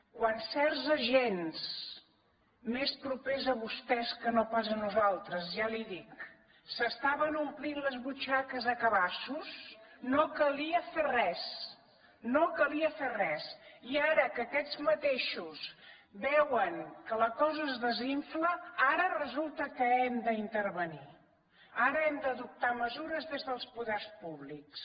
quan certs agents més propers a vostès que no pas a nos altres ja li dic s’estaven omplint les butxaques a cabassos no calia fer res no calia fer res i ara que aquests mateixos veuen que la cosa es desinfla ara resul ta que hem d’intervenir ara hem d’adoptar mesu res des dels poders públics